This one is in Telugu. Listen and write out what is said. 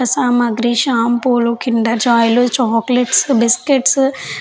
సామగ్రి షాంపూస్ కిండర్ జాయ్ లు చాక్లేట్లు బిస్క్యూట్స్ --